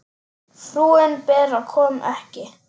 Frúin Bera kom ekki.